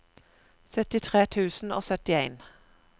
syttitre tusen og syttien